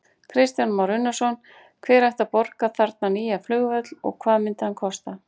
Kristján Már Unnarsson: Hver ætti að borga þarna nýja flugvöll og hvað myndi hann kosta?